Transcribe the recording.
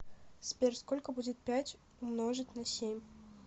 сбер сколько будет пять умножить на семь